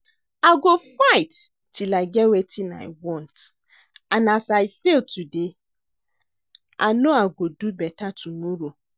I go fight till I get wetin I want and as I fail today I no I go do beta tomorrow